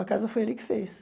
A casa foi ele que fez.